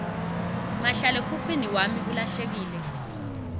mahlalekhukhwini wami ulahlekile